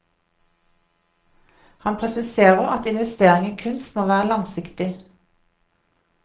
Han presiserer at investering i kunst må være langsiktig.